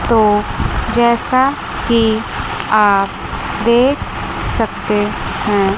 तो जैसा की आप देख सकते हैं।